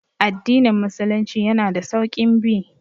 Addinin musulunci yana da sauƙin bi